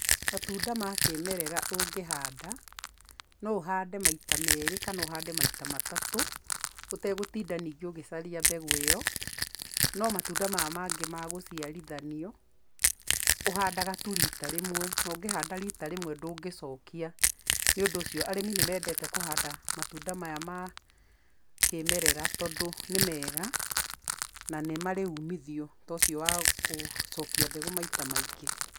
Matunda ma kĩmerera ũngĩhanda, no ũhande maita meri kana ũhande maita matatũ, ũtegũtinda ningĩ ũgĩcaria mbegũ ĩyo, no matunda maya mangĩ ma gũciarithanio, ũhandaga tu rita rĩmwe, na ũngĩhanda rita rĩmwe ndũngĩcokia, nĩũndũ ũcio arĩmi nĩ mendete kũhanda matunda maya ma kĩmerera tondũ nĩ mega, na nĩ marĩ umithio ta ũcio wa gũcokia mbegũ maita maingĩ.